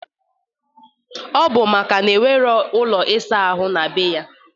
Ọ bụ maka na o nwero ụlọ ịsa ahụ na be ya.